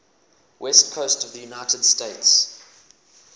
west coast of the united states